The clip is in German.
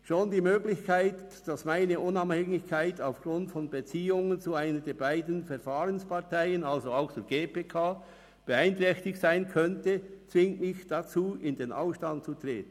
Schon die Möglichkeit, dass meine Unabhängigkeit aufgrund von Beziehungen zu einer der beiden Verfahrensparteien, also auch zur GPK, beeinträchtigt sein könnte, zwingt mich dazu, in den Ausstand zu treten.